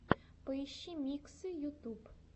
поищи миксы ютуб